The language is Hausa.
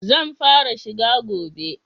Zan fara shi gobe.